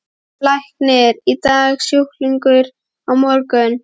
Læknir í dag, sjúklingur á morgun.